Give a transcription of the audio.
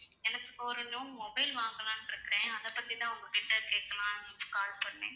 எனக்கு இப்போ ஒரு new mobile வாங்கலாம்னு இருக்கிறேன் அதை பத்தி தான் உங்ககிட்ட கேட்கலாம்ன்னு call பண்ணேன்